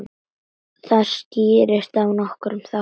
Það skýrist af nokkrum þáttum.